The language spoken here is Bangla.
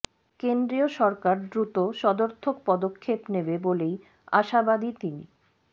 কেন্দ্রীয় সরকার দ্রুত সদর্থক পদক্ষেপ নেবে বলেই আশাবাদী তিনি